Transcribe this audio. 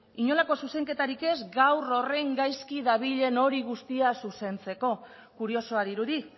inolako zuzenketarik ez gaur horren gaizki dabilen hori guztia zuzentzeko kuriosoa dirudi